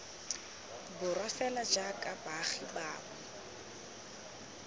borwa fela jaaka baagi bangwe